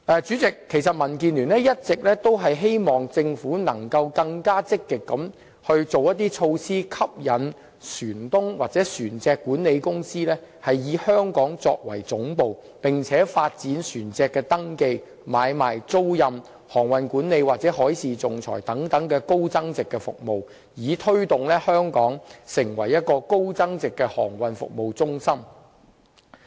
主席，民建聯一直希望政府能更積極地推行措施，吸引船東或船隻管理公司以香港作為總部，並且發展船隻登記、買賣、租賃、航運管理或海事仲裁等高增值服務，以推動香港成為高增值的航運服務中心。